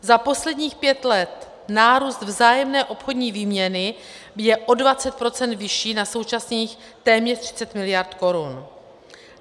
Za posledních pět let nárůst vzájemné obchodní výměny je o 20 % vyšší na současných téměř 30 mld. korun.